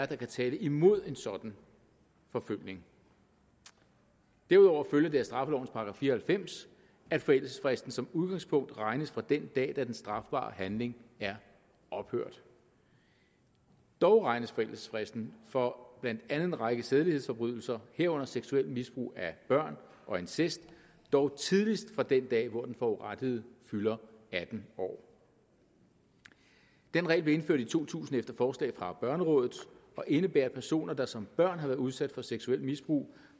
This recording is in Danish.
kan tale imod en sådan forfølgning derudover følger det af straffelovens § fire og halvfems at forældelsesfristen som udgangspunkt regnes fra den dag den strafbare handling er ophørt dog regnes forældelsesfristen for blandt andet en række sædelighedsforbrydelser herunder seksuelt misbrug af børn og incest dog tidligst fra den dag hvor den forurettede fylder atten år den regel blev indført i to tusind efter forslag fra børnerådet og indebærer at personer der som børn har været udsat for seksuelt misbrug